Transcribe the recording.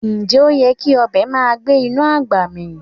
Ǹjẹ́ oyè́ kí ọbẹ màá gbẹ̀ inú agbá mí?